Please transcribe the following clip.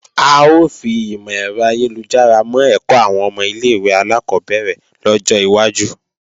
A ó fi ìmò-ẹ̀rọ ayélujára mọ́ ẹ̀kọ́ àwọn ọmọ ilé-ìwé alákọ́bẹ̀rẹ̀ lọ́jọ́ iwájú